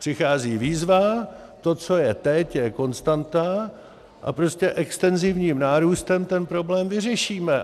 Přichází výzva, to, co je teď, je konstanta a prostě extenzivním nárůstem ten problém vyřešíme.